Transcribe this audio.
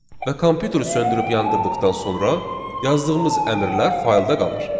Və kompüteri söndürüb yandırdıqdan sonra yazdığımız əmrlər faylda qalır.